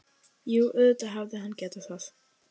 Jú, auðvitað hefði hann getað það.